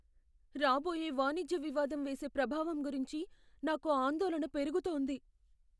రాబోయే వాణిజ్య వివాదం వేసే ప్రభావం గురించి నాకు ఆందోళన పెరుగుతోంది .